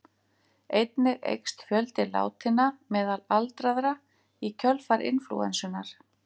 Einnig eykst fjöldi látinna meðal aldraðra í kjölfar inflúensunnar.